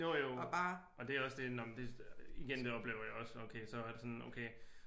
Jo jo og det er også det når men igen det oplever jeg også så er det sådan okay